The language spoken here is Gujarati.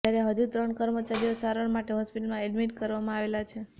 જ્યારે હજુ ત્રણ કર્મચારીઓ સારવાર માટે હોસ્પિટલમાં એડમિટ કરવામાં આવેલા છે